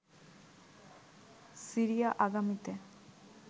Syria আগামীতে